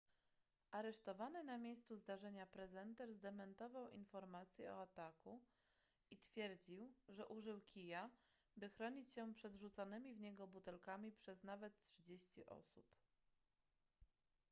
aresztowany na miejscu zdarzenia prezenter zdementował informacje o ataku i twierdził że użył kija by chronić się przed rzucanymi w niego butelkami przez nawet trzydzieści osób